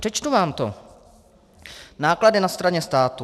Přečtu vám to: Náklady na straně státu.